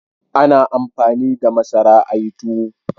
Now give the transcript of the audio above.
A na amfani da masara a yi tuwo